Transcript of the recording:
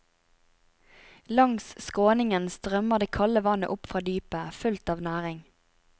Langs skråningen strømmer det kalde vannet opp fra dypet, fullt av næring.